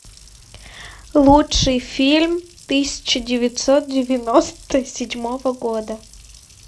лучший фильм тысяча девятьсот девяносто седьмого года